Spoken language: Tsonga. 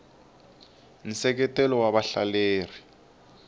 nseketelo wa vahleleri